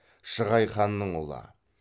шығай ханның ұлы